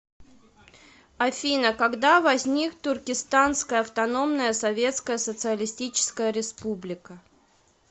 афина когда возник туркестанская автономная советская социалистическая республика